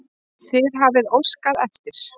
Þið hafið óskað eftir.